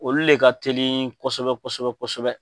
Olu le ka teli ko kosɛbɛ kosɛbɛ kosɛbɛ